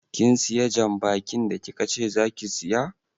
Kin siya jan bakin da kikace zaki siya?